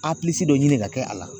Apilisi dɔ ɲini ka kɛ a la.